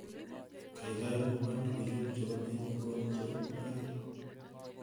gaigai mwowon logoiwek chepo en inguni chepo mung'aret